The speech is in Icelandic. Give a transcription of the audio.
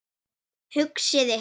Hugsið ykkur!